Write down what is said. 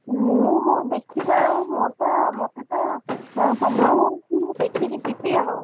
ମୁଁ ହଉ ଦେଖିବା ଆଉ ମୋର ତ ମତେ ତ ସମୟ ହଉନି ମୁଁ ଦେଖିକି ଯିବି ଆଉ,